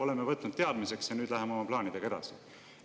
Oleme võtnud teadmiseks ja nüüd läheme oma plaanidega edasi.